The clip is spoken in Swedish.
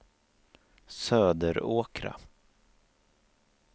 Söderåkra